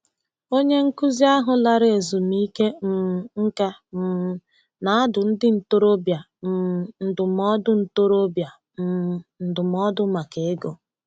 Onye nkuzi ahụ lara ezumike um nka um na-adụ ndị ntorobịa um ndụmọdụ ntorobịa um ndụmọdụ maka ego.